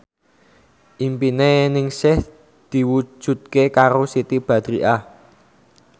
impine Ningsih diwujudke karo Siti Badriah